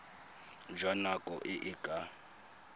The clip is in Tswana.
jwa nako e e ka